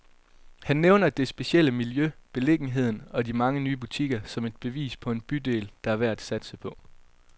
Han nævner det specielle miljø, beliggenheden og de mange nye butikker, som et bevis på en bydel, der er værd at satse på.